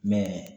Mɛ